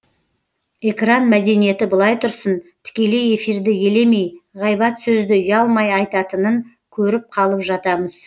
экран мәдениеті былай тұрсын тікелей эфирді елемей ғайбат сөзді ұялмай айтатынын көріп қалып жатамыз